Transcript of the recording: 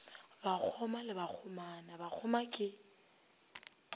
bakgoma le bakgomana bakgoma ke